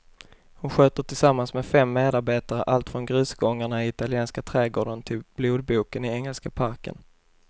Han sköter tillsammans med fem medarbetare allt från grusgångarna i italienska trädgården till blodboken i engelska parken.